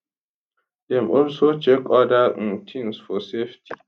dem also check oda um tins for safety